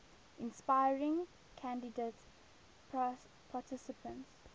inspiring candidate participants